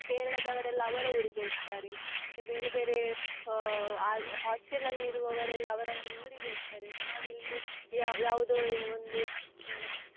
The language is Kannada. Kerala ದವರೆಲ್ಲ ಅವರ ಊರಿಗೆ ಹೋಗ್ತಾರೆ ಮತ್ತೆ ಬೇರೆ ಬೇರೆ ಆ ho~ hostel ಅಲ್ಲಿ ಇರುವವರೆಲ್ಲ ಅವರವರ ಊರಿಗೆ ಹೋಗ್ತಾರೆ ನಾವಿನ್ನು ಯಾ~ ಯಾವದೊ ಒಂದು.